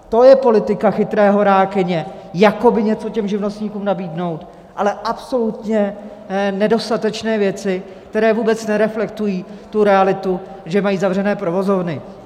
To je politika chytré horákyně, jakoby něco těm živnostníkům nabídnout, ale absolutně nedostatečné věci, které vůbec nereflektují tu realitu, že mají zavřené provozovny.